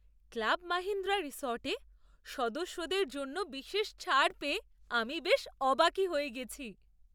Club Mahindra রিসর্টে সদস্যদের জন্য বিশেষ ছাড় পেয়ে আমি বেশ অবাকই হয়ে গেছি।